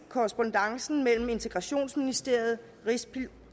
korrespondancen mellem integrationsministeriet